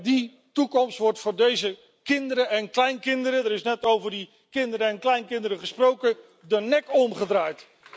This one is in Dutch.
Die toekomst wordt voor deze kinderen en kleinkinderen er is net over die kinderen en kleinkinderen gesproken de nek omgedraaid.